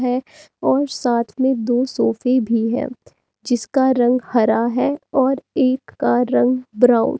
है और साथ में दो सोफे भी है जिसका रंग हरा है और एक का रंग ब्राउन --